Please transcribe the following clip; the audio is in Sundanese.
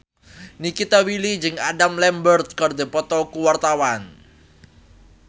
Nikita Willy jeung Adam Lambert keur dipoto ku wartawan